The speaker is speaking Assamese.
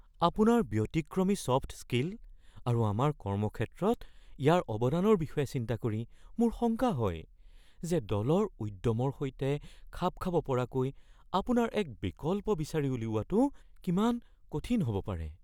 আপোনাৰ ব্যতিক্ৰমী ছফ্ট স্কিল আৰু আমাৰ কৰ্মক্ষেত্ৰত ইয়াৰ অৱদানৰ বিষয়ে চিন্তা কৰি মোৰ শংকা হয় যে দলৰ উদ্যমৰ সৈতে খাপ খাব পৰাকৈ আপোনাৰ এক বিকল্প বিচাৰি উলিওৱাটো কিমান কঠিন হ'ব পাৰে।